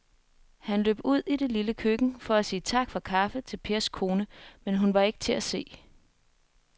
Han løb ud i det lille køkken for at sige tak for kaffe til Pers kone, men hun var ikke til at se.